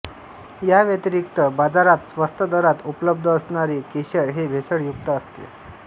या व्यतिरिक्त बाजारात स्वस्त दरात उपलब्ध असणारे केशर हे भेसळ युक्त असते